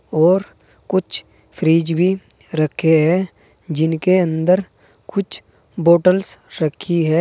और कुछ फ्रिज भी रखे हैं जिनके अंदर कुछ बॉटल्स रखी है।